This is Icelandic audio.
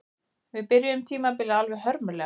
Við byrjuðum tímabilið alveg hörmulega